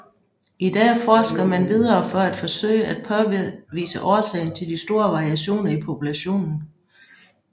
I dag forsker man videre for at forsøge at påvise årsagen til de store variationer i populationen